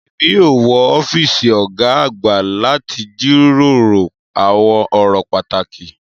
Èmi yóò wọ ọ́fíìsì ọ̀gá àgbà láti jíròrò àwọn ọ̀rọ̀ pàtàkì.